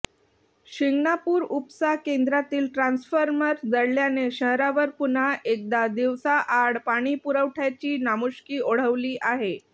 शिंगणापूर उपसा केंद्रातील ट्रान्सफॉर्मर जळाल्याने शहरावर पुन्हा एकदा दिवसाआड पाणीपुरवठय़ाची नामुष्की ओढवली आहे